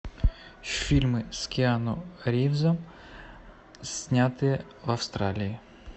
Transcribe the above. фильмы с киану ривзом снятые в австралии